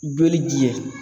Joli jɛ